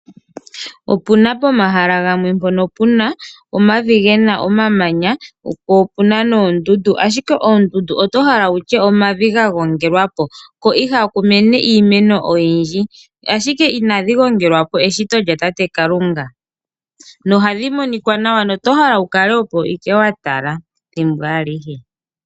Opuna pomahala gamwe mpono puna omavi gena omamanya po opuna noondundu, ashike oondundu oto hala wutye omavi ga gongelwa po. Ko ihaku mene iimeno oyindji, ashike inadhi gongelwa po eshito lya tate Kalunga. Nohadhi monika nawa na oto hale wu kale opo ike wa tala thimbo alihe.